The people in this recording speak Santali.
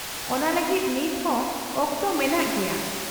-ᱚᱱᱟ ᱞᱟᱹᱜᱤᱫ ᱱᱤᱛᱦᱚᱸ ᱚᱠᱛᱚ ᱢᱮᱱᱟᱜ ᱜᱮᱭᱟ ᱾